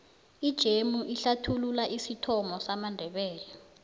ijemu ihlsthulula isithomo samandebele